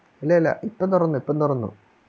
അല്ല അല്ല ഇപ്പൊ തൊറന്നു ഇപ്പൊ തൊറന്നു